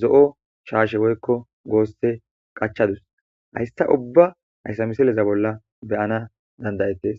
zo7o shaashe woykko goosse qachadus haysta ubba hayssa misileza bolla beyana dandayettes